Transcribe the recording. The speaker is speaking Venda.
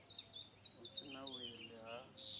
hu si na wili ha